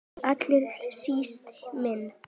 Og allra síst minn.